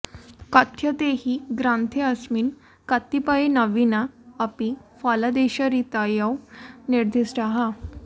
कथ्यते हि ग्रन्थेऽस्मिन् कतिपये नवीना अपि फलादेशरीतयो निर्दिष्टाः